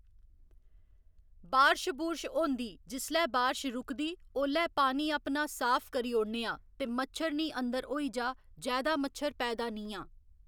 बारश बुरश होंदी जिसलै बारश रूकदी ओह्‌लै पानी अपना साफ करी औड़नेआं ते मच्छर नीं अंदर होई जा जैदा मच्छर पैदा नीं आ